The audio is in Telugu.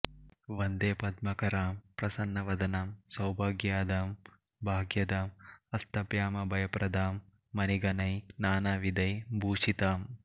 వందే పద్మకరాం ప్రసన్నవదనాం సౌభాగ్యదాం భాగ్యదాం హస్తాభ్యామభయప్రదాం మణిగణైః నానావిధైః భూషితామ్